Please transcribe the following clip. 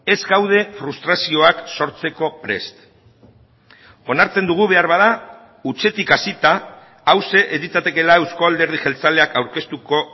ez gaude frustrazioak sortzeko prest onartzen dugu beharbada hutsetik hasita hauxe ez litzatekeela eusko alderdi jeltzaleak aurkeztuko